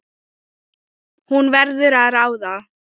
Hún verður að ráða.